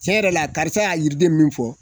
Tiɲɛ yɛrɛ la karisa ya yiriden min fɔ